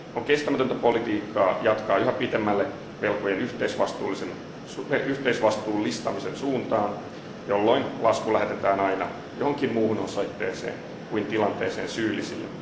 On kestämätöntä politiikkaa jatkaa yhä pitemmälle velkojen yhteisvastuullistamisen suuntaan, jolloin lasku lähetetään aina johonkin muuhun osoitteeseen kuin tilanteeseen syyllisille.